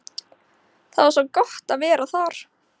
Það var svo gott að vera þar.